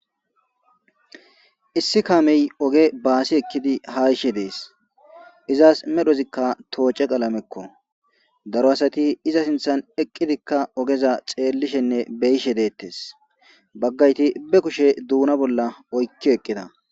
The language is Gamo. Issi kamey oge basi ekidi ha yishe des izasi medhozika tice qlamezako daro asati iza sinthan eqidika ogeza xelishen be'ishe detes bagayti be kushe duna bolla oyki eqida